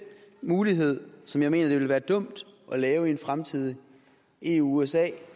mulighed som jeg mener at det ville være dumt at lave i en fremtidig eu usa